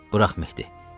Burax, Mehdi.